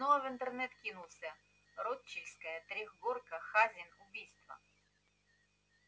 снова в интернет кинулся рочдельская трёхгорка хазин убийство